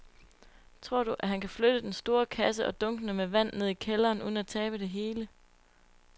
Tror du, at han kan flytte den store kasse og dunkene med vand ned i kælderen uden at tabe det hele?